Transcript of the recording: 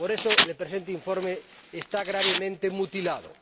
Por eso, el presente informe está gravemente mutilado.